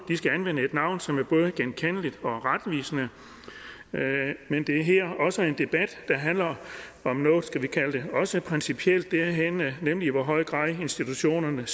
skal anvende et navn som er både genkendeligt og retvisende men det er også en debat der handler om noget principielt nemlig i hvor høj grad institutionerne